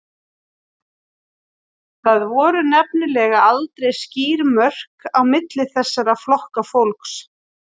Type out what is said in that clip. Það voru nefnilega aldrei skýr mörk á milli þessara flokka fólks.